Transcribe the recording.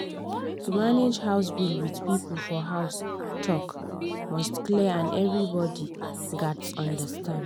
to manage house bill with people for house talk must clear and everybody gats understand.